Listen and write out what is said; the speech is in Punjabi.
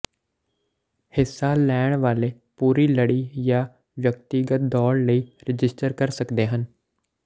ਹਿੱਸਾ ਲੈਣ ਵਾਲੇ ਪੂਰੀ ਲੜੀ ਜਾਂ ਵਿਅਕਤੀਗਤ ਦੌੜ ਲਈ ਰਜਿਸਟਰ ਕਰ ਸਕਦੇ ਹਨ